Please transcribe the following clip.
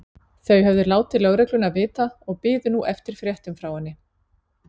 Þau höfðu látið lögregluna vita og biðu nú eftir fréttum frá henni.